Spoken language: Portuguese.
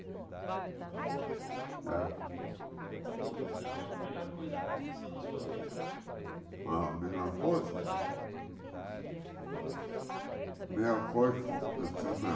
Ah Qual foi, então, a melhor coisa que aconteceu na sua vida? Ma melhor coisa É melhor coisa que aconteceu na